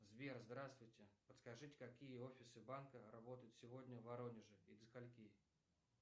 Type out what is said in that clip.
сбер здравствуйте подскажите какие офисы банка работают сегодня в воронеже и до скольки